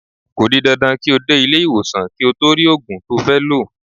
Ko di dandan ki o de ile-iwosan ki o to ri ogun to fe lo.